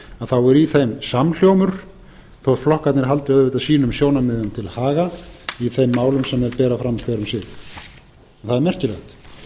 þá er í þeim samhljómur þótt flokkarnir haldi auðvitað sínum sjónarmiðum til haga í þeim málum sem þeir bera fram hver um sig það er merkilegt